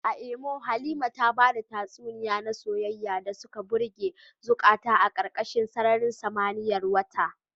A Imo, Halima ta bada tatsuniyoyi na soyayya da suka birge zukata a karkashin sararin samaniyar wata.